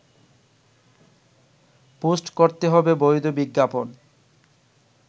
post করতে হবে বৈধ বিজ্ঞাপন